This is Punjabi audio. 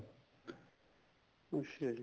ਅੱਛਾ ਜੀ